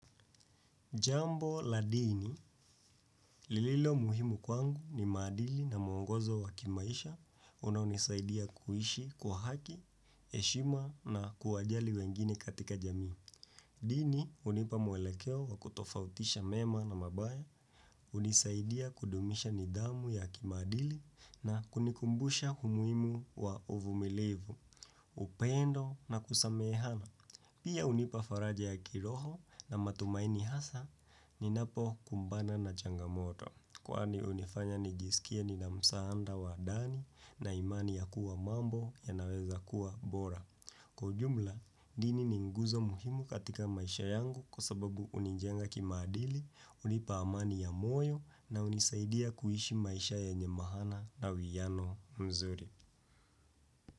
Jambo la dini, lililo muhimu kwangu ni madili na mwongozo wa kimaisha, unaunisaidia kuishi kwa haki, heshima na kuwajali wengine katika jamii. Dini, hunipa mwelekeo wa kutofautisha mema na mabaya, hunisaidia kudumisha nidhamu ya kimaadili na kunikumbusha umuimu wa uvumilivu, upendo na kusamehana. Pia hunipa faraja ya kiroho na matumaini hasa ni napo kumbana na changamoto. Kwani hunifanya nijisikia ni na msaada wa dani na imani ya kuwa mambo ya naweza kuwa bora. Kwa jumla, dini ni nguzo muhimu katika maisha yangu kwa sababu hunijenga kimaadili, hunipa amani ya moyo na unisaidia kuishi maisha ye nye maana na uiano mzuri.